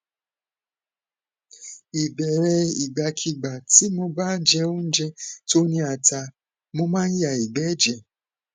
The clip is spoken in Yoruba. ìbéèrè ìgbàkigbà tí mo bá jẹ oúnjẹ tó ni ata mo ma n ya igbe eje